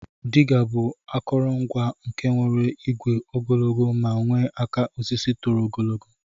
Diga bu akọrọ ngwa nke nwere igwe ogologo ma nwee aka osisi toro ogologo.